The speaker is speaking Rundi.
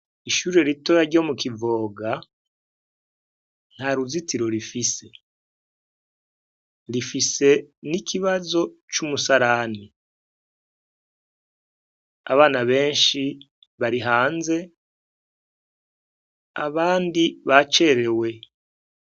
Ishure ritoya ryo mu kivoga nta ruzitiro rifise, rifise n' ikibazo c' umusarani abana benshi bari hanze abandi bacerewe.